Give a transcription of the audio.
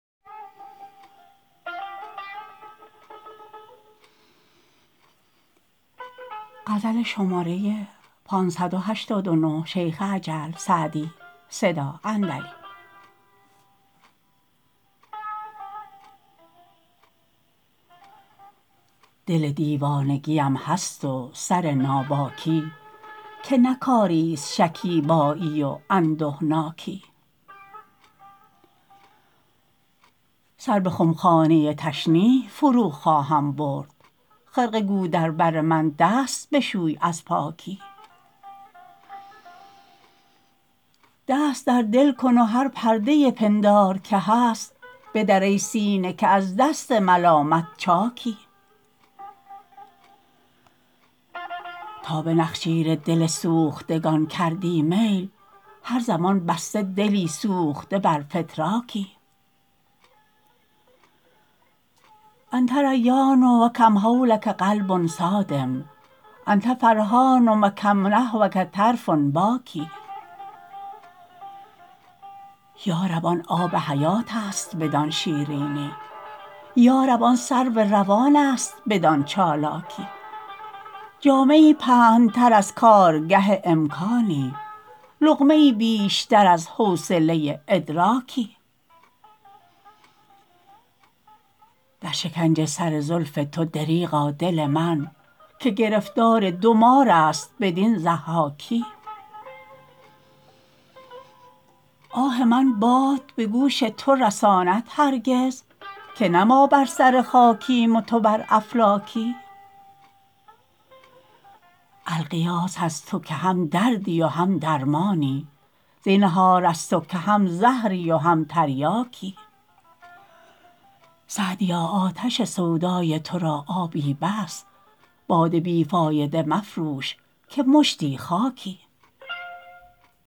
دل دیوانگی ام هست و سر ناباکی که نه کاری ست شکیبایی و اندهناکی سر به خمخانه تشنیع فرو خواهم برد خرقه گو در بر من دست بشوی از پاکی دست در دل کن و هر پرده پندار که هست بدر ای سینه که از دست ملامت چاکی تا به نخجیر دل سوختگان کردی میل هر زمان بسته دلی سوخته بر فتراکی أنت ریان و کم حولک قلب صاد أنت فرحان و کم نحوک طرف باکی یا رب آن آب حیات است بدان شیرینی یا رب آن سرو روان است بدان چالاکی جامه ای پهن تر از کارگه امکانی لقمه ای بیشتر از حوصله ادراکی در شکنج سر زلف تو دریغا دل من که گرفتار دو مار است بدین ضحاکی آه من باد به گوش تو رساند هرگز که نه ما بر سر خاکیم و تو بر افلاکی الغیاث از تو که هم دردی و هم درمانی زینهار از تو که هم زهری و هم تریاکی سعدیا آتش سودای تو را آبی بس باد بی فایده مفروش که مشتی خاکی